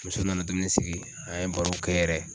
Muso nana dumuni sigi an ye baro kɛ yɛrɛ.